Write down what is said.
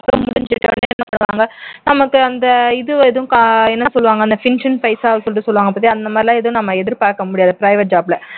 நமக்கு அந்த இது எதும் கா என்ன சொல்வாங்க pension பைசா அப்படி சொல்லிட்டு சொல்வாங்க பாத்தியா அந்த மாதிரி எல்லாம் நம்ம எதிர்பார்க்க முடியாது private job ல